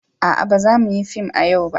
A'a, ba za mu yi fim a yau ba.